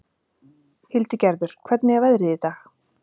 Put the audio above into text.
Hildigerður, hvernig er veðrið í dag?